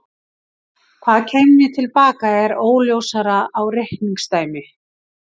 Hvað kæmi til baka er óljósara reikningsdæmi.